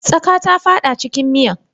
Tsaƙa ta fada cikin miyan.